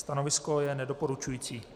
Stanovisko je nedoporučující.